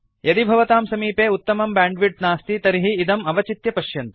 यदि भवतां समीपे उत्तमं ब्यांड्विड्त् नास्ति तर्हि इदम् अवचित्य पश्यन्तु